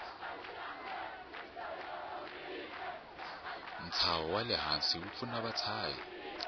nshavo walehhansi wupfuna vashavi